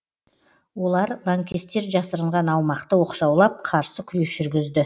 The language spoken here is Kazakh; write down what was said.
олар лаңкестер жасырынған аумақты оқшаулап қарсы күрес жүргізді